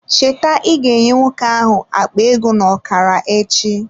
Cheta ịga nye nwoke ahụ akpa ego n'okara echi